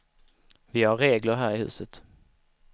Vi har regler här i huset.